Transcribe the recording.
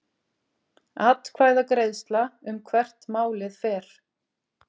Atkvæðagreiðsla um hvert málið fer